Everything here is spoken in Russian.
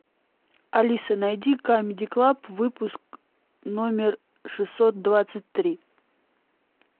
алиса найди камеди клаб выпуск номер шестьсот двадцать три